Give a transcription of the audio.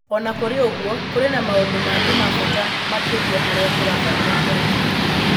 O na kũrĩ ũguo, kũrĩ na maũndũ mangĩ ma bata makĩria marĩa tũrabatara kwarĩrĩria.